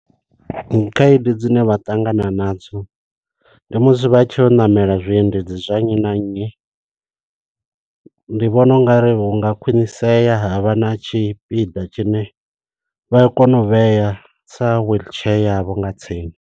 Khaedu dzine vha ṱangana nadzo, ndi musi vha tshi ya u ṋamela zwiendedzi zwa nnyi na nnyi. Ndi vhona ungari hunga khwiṋisea havha na tshipiḓa tshine, vha a kona u vhea sa wheelchair yavho nga tsini.